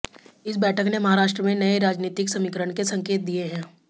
इस बैठक ने महाराष्ट्र में नए राजनीतिक समीकरण के संकेत दिए हैं